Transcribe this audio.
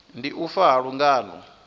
ndi u fa ha lungano